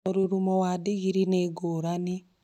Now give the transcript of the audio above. Mũrurumo wa ndigiri nĩ ngũrani